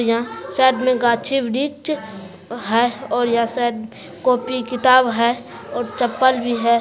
यहाँ साइड में गाछी-वृझ हाय और यहाँ शायद कॉपी किताब हैय और चप्पल भी है।